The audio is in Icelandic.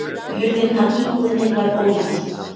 Hurðin að íbúðinni var ólæst